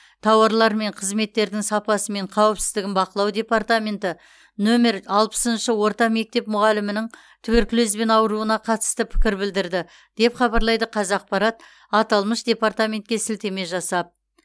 тауарлар мен қызметтердің сапасы мен қауіпсіздігін бақылау департаменті нөмірі алпысыншы орта мектеп мұғалімінің туберкулезбен ауыруына қатысты пікір білдірді деп хабарлайды қазақпарат аталмыш департаментке сілтеме жасап